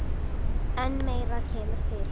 En meira kemur til.